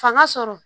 Fanga sɔrɔ